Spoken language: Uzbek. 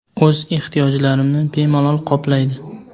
O‘z ehtiyojlarimni bemalol qoplaydi.